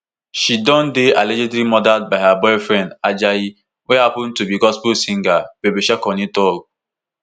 she don dey allegedly murdered by her boyfriend ajayi wey happun to be gospel singer babysharkonei tok